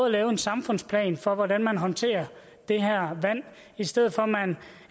at lave en samfundsplan for hvordan man håndterer det her vand i stedet for